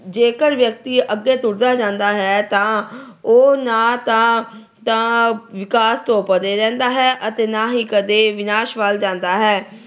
ਜੇਕਰ ਵਿਅਕਤੀ ਅੱਗੇ ਤੁਰਦਾ ਜਾਂਦਾ ਹੈ, ਤਾਂ ਉਹ ਨਾ ਤਾਂ ਅਹ ਤਾਂ ਵਿਕਾਸ ਤੋਂ ਪਰ੍ਹੇ ਰਹਿੰਦਾ ਹੈ ਅਤੇ ਨਾ ਕਦੇ ਵਿਨਾਸ਼ ਵੱਲ ਜਾਂਦਾ ਹੈ।